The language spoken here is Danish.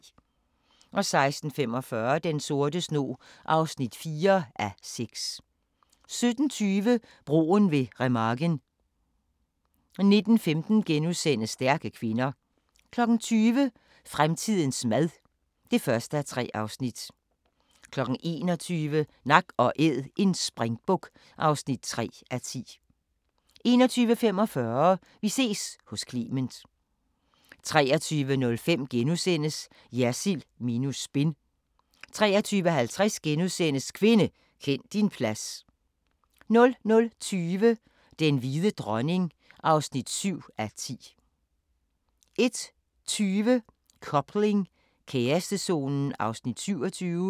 16:45: Den sorte snog (4:6) 17:20: Broen ved Remagen 19:15: Stærke kvinder * 20:00: Fremtidens mad (1:3) 21:00: Nak & Æd – en springbuk (3:10) 21:45: Vi ses hos Clement 23:05: Jersild minus spin * 23:50: Kvinde, kend din plads * 00:20: Den hvide dronning (7:10) 01:20: Coupling – kærestezonen (27:28)